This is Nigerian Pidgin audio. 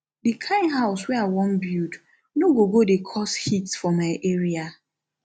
di kind house wey i wan build no go go dey cause heat for my area